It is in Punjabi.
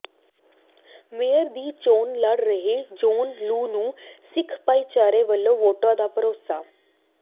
ਮੇਅਰ ਦੀ ਚੋਣ ਲੜ ਰਹੇ ਜੌਹਨ ਲੂ ਨੂੰ ਸਿੱਖ ਭਾਈਚਾਰੇ ਵਲੋਂ ਵੋਟਾਂ ਦਾ ਭਰੋਸਾ